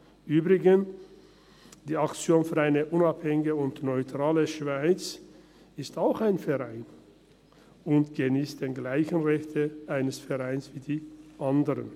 Übrigens: Die «Aktion für eine unabhängige und neutrale Schweiz (AUNS)» ist auch ein Verein und geniesst dieselben Rechte eines Vereins wie die anderen.